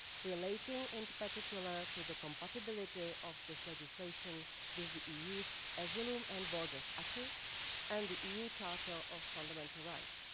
relating in particular to the compatibility of this legislation with the EU's asylum and borders acquis and the EU Charter of Fundamental Rights.